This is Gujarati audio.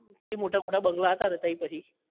તઇ મોટા મોટા બંગલા હતા તો તઇ પછી